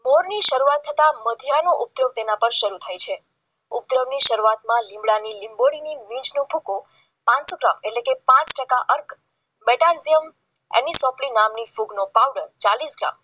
મોરની શરૂઆત થતા મધ્યા હાય તેનો ઉપયોગ શરૂ થાય છે પ્રજ્ઞાની શરૂઆતમાં લીમડાની ગોળીની ભૂકો એટલે પાંચ ટકા જેમ એની ચોપડી નામની નો પાવડર ચાલીસ ગ્રામ